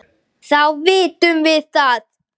Þá vitum við það!